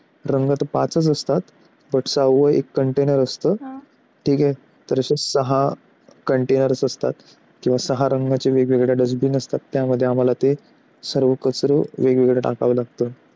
रंग तर पाचच असतात. त्यांचा वय container असतो ठीक आहे तर, असे सहा container असतात तेव्हा सारंग्याच्या वेगवेगळ्या dustbin असतात. त्यामध्ये आम्हाला ते सगळं कचरा वेगवेगळे टाकावा लागतो.